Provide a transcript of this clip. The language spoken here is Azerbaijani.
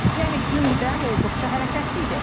Yəni gündəm olduqca hərəkətli idi.